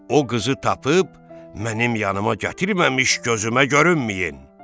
O qızı tapıb mənim yanıma gətirməmiş gözümə görünməyin!